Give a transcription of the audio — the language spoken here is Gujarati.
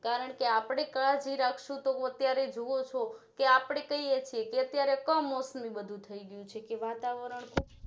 કારણકે આપણે કાળજી રક્સું તો અત્યારે જોવો છો કે આપણે કઈએ છીએ અત્યારે કમોસમી બધું થઈ ગયું છે કે વાતાવરણ છે